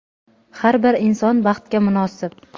har bir inson baxtga munosib.